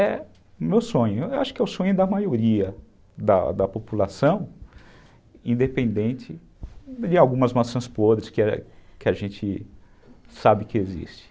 É meu sonho, eu acho que é o sonho da maioria da população, independente de algumas maçãs podres que a gente que a gente sabe que existem.